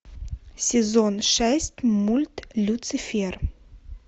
сезон шесть мульт люцифер